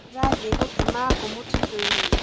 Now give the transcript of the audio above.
ndĩrathie gutema ngũ mũtitũ inĩ